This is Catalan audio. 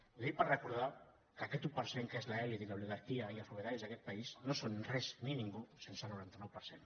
ho dic per recordar que aquest un per cent que és l’elit i l’oligarquia i els propietaris d’aquest país no són res ni ningú sense el noranta nou per cent